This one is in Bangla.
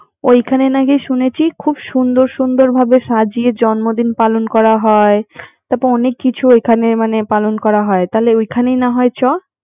ওখানে নাকি শুনেছি খুব সুন্দর সুন্দর ভাবে সাজিয়ে জন্মদিন পালন করা হয় তারপর ওখানে মানে ওখানে পালন করা হয় তাহলে ওখানে না হয় চল